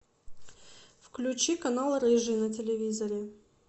включи канал рыжий на телевизоре